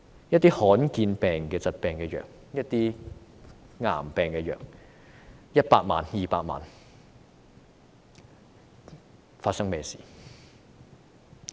一些罕見疾病和癌病的藥物 ，100 萬元、200萬元......